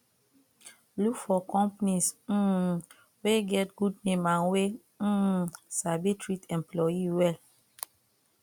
look for companies um wey get good name and wey um sabi treat employee well